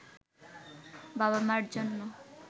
বাবা-মার জন্য